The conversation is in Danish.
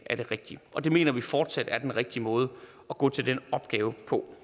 rigtige og det mener vi fortsat er den rigtige måde at gå til den opgave på